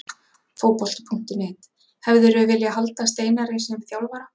Fótbolti.net: Hefðirðu viljað halda Steinari sem þjálfara?